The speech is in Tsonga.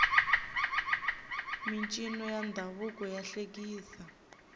mincino ya ndhavuko ya hlekisa